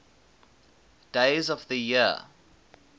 days of the year